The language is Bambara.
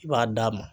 I b'a d'a ma